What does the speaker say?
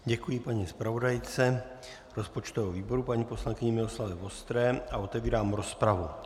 Děkuji paní zpravodajce rozpočtového výboru paní poslankyni Miloslavě Vostré a otevírám rozpravu.